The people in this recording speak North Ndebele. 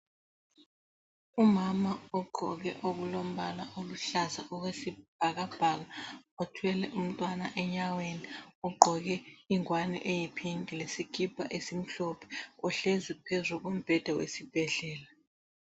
Umama ogqoke okulombala oluhlaza okwesibhakabhaka othwele umntwana enyaweni ogqoke ingwane eyi pink lesikipa esimhlophe ohlezi phezu kombheda wesibhedlela.